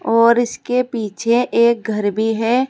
और इसके पीछे एक घर भी है।